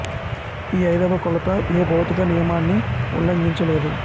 ఈ ఐదవ కొలత ఏ భౌతిక నియమాన్నీ ఉల్లంఘించ లేదు